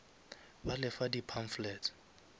ba le fa di pamphlets